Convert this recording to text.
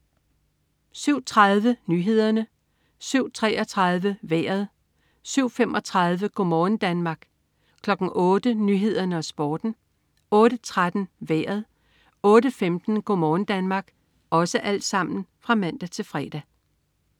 07.30 Nyhederne (man-fre) 07.33 Vejret (man-fre) 07.35 Go' morgen Danmark (man-fre) 08.00 Nyhederne og Sporten (man-fre) 08.13 Vejret (man-fre) 08.15 Go' morgen Danmark (man-fre)